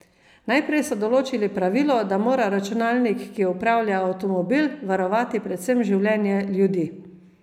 Najprej so določili pravilo, da mora računalnik, ki upravlja avtomobil, varovati predvsem življenje ljudi.